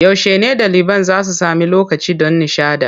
Yaushe ne ɗaliban za su sami lokacin ɗan nishaɗi?